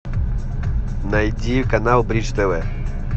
найди канал бридж тв